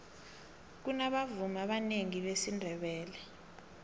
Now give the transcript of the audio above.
kunabavumi abanengi besindebele